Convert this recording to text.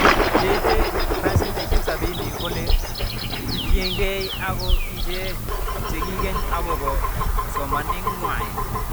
Cheite 70% kolen kole kitiekei ako ichet cheingen akopo somaneng'wai